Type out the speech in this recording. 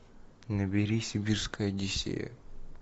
набери сибирская одиссея